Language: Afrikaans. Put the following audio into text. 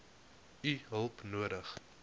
u hulp nodig